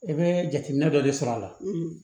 I bɛ jateminɛ dɔ de sɔr'a la